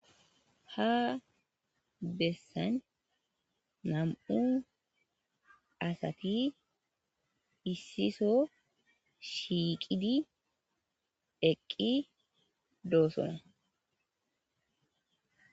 ha bessan nam7u asati issiso shiiqidi eqqi doosona